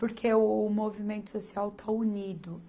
Porque o movimento social está unido.